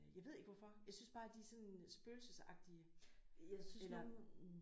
Jeg ved ikke hvorfor jeg synes bare de sådan spøgelsesagtige eller